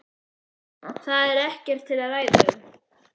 Það er ekkert til að ræða um.